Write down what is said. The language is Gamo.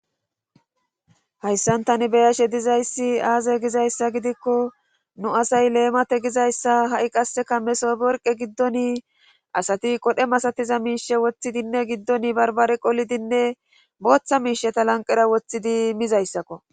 hayssantani beyashe dizayssi aaze gizayssa gidikko nu asay leemate gizayssa ha7i qasseka mesoborqe giddoni asati qodhe masatiza miishe woththidinne giddoni barbare qolidinne booththa miisheta lanqera woththidi mizayssakko